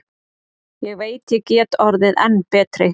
Ég veit ég get orðið enn betri.